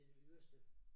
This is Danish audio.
Til det yderste